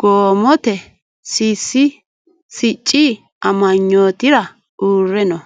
gobate sicci amanyootira uure no